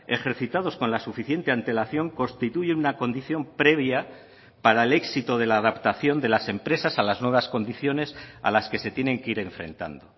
ejercitados con la suficiente antelación constituyen una condición previa para el éxito de la adaptación de las empresas a las nuevas condiciones a las que se tienen que ir enfrentando